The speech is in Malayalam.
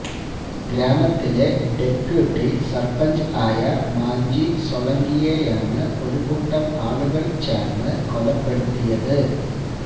ഗ്രാമത്തിലെ ഡെപ്യൂട്ടി സർപ്പഞ്ച് ആയ മാഞ്ജി സോളങ്കിയെയാണ് ഒരു കൂട്ടം ആളുകൾ ചേർന്ന് കൊലപ്പെടുത്തിയത്